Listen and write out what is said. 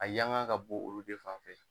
A yan gan ka bon olu de fanfɛ